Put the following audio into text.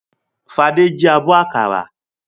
Fadé jí abọ́ àkàrà?